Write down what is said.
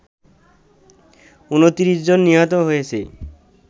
২৯ জন নিহত হয়েছে